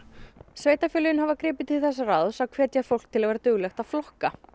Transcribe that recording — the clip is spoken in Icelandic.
sveitarfélögin hafa gripið til þess ráðs að hvetja fólk til þess að vera duglegt að flokka